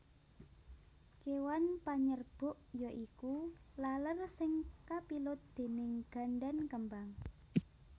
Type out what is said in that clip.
Kéwan panyerbuk yaiku laler sing kapilut déning gandan kembang